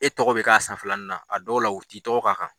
E tɔgɔ be k'a san filanan , a dɔw la u ti tɔgɔ ka kan.